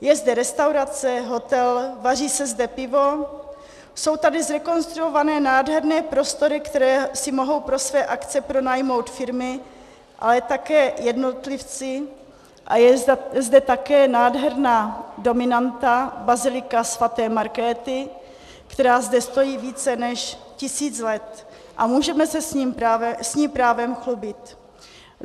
Je zde restaurace, hotel, vaří se zde pivo, jsou tady zrekonstruované nádherné prostory, které si mohou pro své akce pronajmout firmy, ale také jednotlivci, a je zde také nádherná dominanta, bazilika sv. Markéty, která zde stojí více než tisíc let a můžeme se s ní právem chlubit.